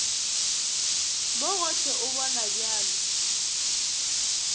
mo gohle o bonwa bjalo